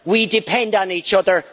We depend on each other.